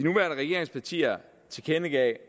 regeringspartier tilkendegav